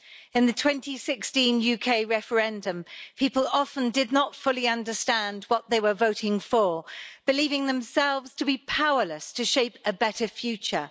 In the 2016 UK referendum people often did not fully understand what they were voting for, believing themselves to be powerless to shape a better future.